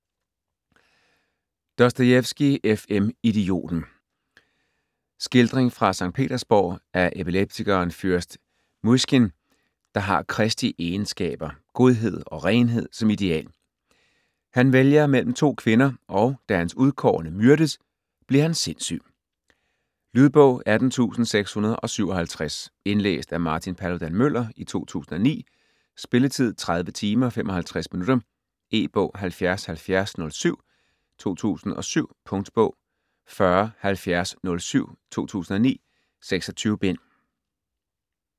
Dostojevskij, F. M.: Idioten Skildring fra Skt. Petersborg af epileptikeren fyrst Mysjkin, der har Kristi egenskaber, godhed og renhed, som ideal. Han vælger mellem to kvinder, og da hans udkårne myrdes, bliver han sindssyg. Lydbog 18657 Indlæst af Martin Paludan-Müller, 2009. Spilletid: 30 timer, 55 minutter. E-bog 707007 2007. Punktbog 407007 2009.26 bind.